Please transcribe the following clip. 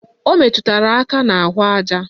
O meturu aka n'ahụaja